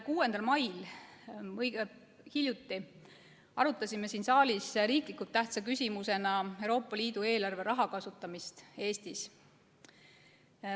6. mail, seega õige hiljuti, arutasime siin saalis riiklikult tähtsa küsimusena Euroopa Liidu eelarve raha kasutamist Eestis.